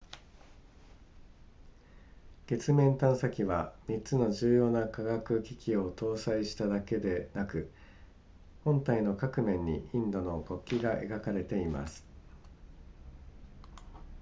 月面探査機は3つの重要な科学機器を搭載しただけでなく本体の各面にインドの国旗が描かれています